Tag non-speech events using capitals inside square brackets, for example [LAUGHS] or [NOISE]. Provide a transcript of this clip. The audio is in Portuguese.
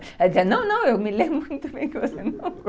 Ela dizia, não, não, eu me lembro muito [LAUGHS]